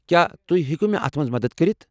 کیٚا تُہۍ ہیكو مےٚ اتھ مَنٛز مدتھ کٔرِتھ؟